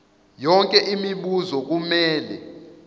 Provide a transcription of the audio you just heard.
yonke imibuzo kumele